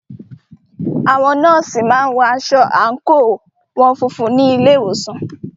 Àwọn nọ́ọ̀sì má ń wọ aṣọ àńkò wọn funfun ní ilé ìwòsàn